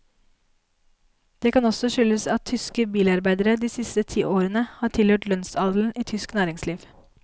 Det kan også skyldes at tyske bilarbeidere de siste tiårene har tilhørt lønnsadelen i tysk næringsliv.